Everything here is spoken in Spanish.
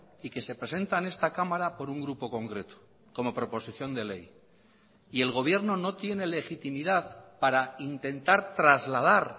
y que se presenta en esta cámara por un grupo concreto como proposición de ley y el gobierno no tiene legitimidad para intentar trasladar